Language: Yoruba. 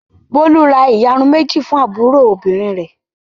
Bólú ra ìyarun méjì fún àbúrò obìnrin rẹ̀.